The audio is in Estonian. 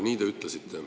Nii te ütlesite.